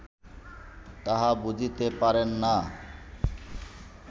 তাহা বুঝিতে পারেন না